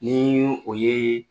Ni n ye o ye